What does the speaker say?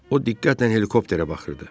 O diqqətlə helikopterə baxırdı.